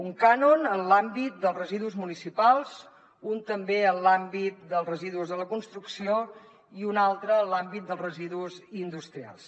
un cànon en l’àmbit dels residus municipals un també en l’àmbit dels residus de la construcció i un altre en l’àmbit dels residus industrials